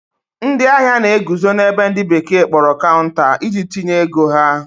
ndị ahịa na-eguzo na-ebe ndi bekee kporo counter, iji tinye ego ha